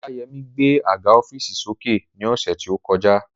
Ọláyẹmí gbé àga ọ́fììsì sókè ní ọ̀sẹ̀ tí ó kọjá